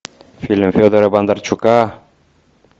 фильм федора бондарчука